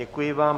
Děkuji vám.